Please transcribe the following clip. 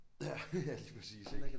Ja lige præcis ik